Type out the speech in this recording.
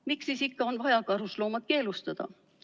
Miks siis ikka on vaja karusloomad keelustada?